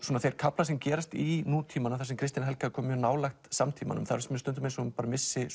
þeir kaflar sem gerast í nútímanum þar sem Kristín Helga er komin nálægt samtímanum finnst mér stundum eins og hún missi